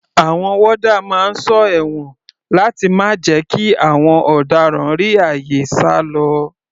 Àwọn warder máa ń sọ ẹ̀wọ̀n láti má jẹ́ kí àwọn ọ̀daràn rí àyè sálọ.